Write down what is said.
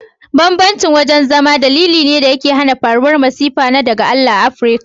Bambancin wajen zama dalili ne dake hana faruwar masifu na daga Allah a Africa.